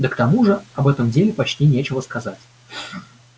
да к тому же об этом деле почти нечего сказать